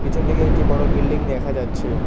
পিছন দিকে একটি বড়ো বিল্ডিং দেখা যাচ্ছে।